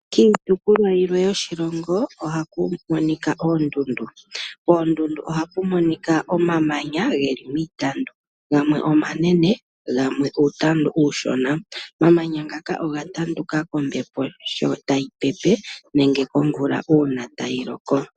Kiitopolwa yimwe yoshilongo ohaku monika oondundu, poondundu ohapu monika omamanya ge li miitandu gamwe omanene gamwe uutandu uushona. Omamanya ngaka oga tanduka kombepo sho tayi pepe nenge komvula uuna tayi loko.